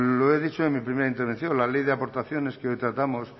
lo he dicho en mi primera intervención la ley de aportaciones que hoy tratamos